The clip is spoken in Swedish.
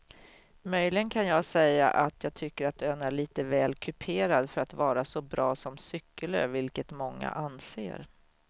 Möjligen kan jag säga att jag tycker att ön är lite väl kuperad för att vara så bra som cykelö vilket många anser.